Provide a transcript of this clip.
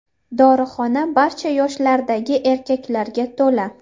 Dorixona barcha yoshlardagi erkaklarga to‘la.